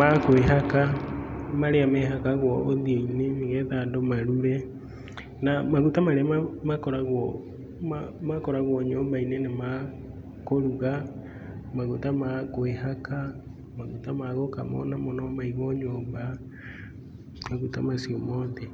ma kwĩhaka, marĩa mehakagwo ũthiũ-inĩ, nĩgetha andũ marure. Na maguta marĩa makoragwo nyũmba-inĩ nĩ ma kũruga, maguta ma kwĩhaka, maguta ma gũkama ona mo no maigwo nyũmba. Maguta macio mothe.